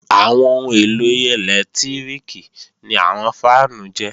Àwọn ohun èlò ẹlẹ́lẹtíríkì ni àwọn fáànù jẹ́